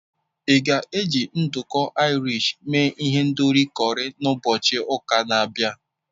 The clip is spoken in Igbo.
Ị ga-eji nduku Irish mee ihendori curry na ụbọchị ụka na-abịa?